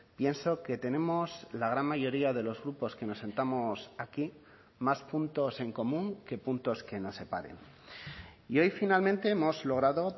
pienso que tenemos la gran mayoría de los grupos que nos sentamos aquí más puntos en común que puntos que nos separen y hoy finalmente hemos logrado